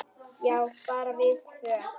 Já, bara við tvö.